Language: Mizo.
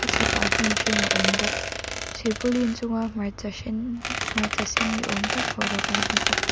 a chhakah hnim hrim a awm bawk silpaulin chunga hmarcha hren hmarcha sen ni awm tak pho ro kan hmu bawk.